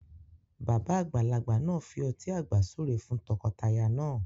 Bàbá àgbàlagbà náà fi ọtí àgbà súre fún t'ọkọ t'aya náà